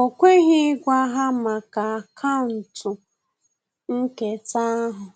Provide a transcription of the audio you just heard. O kweghị ịgwa ha maka akaụntụ nketa ahụ,